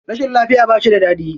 Rashin lafiya ba shi da daɗi.